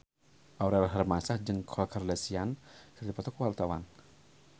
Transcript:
Aurel Hermansyah jeung Khloe Kardashian keur dipoto ku wartawan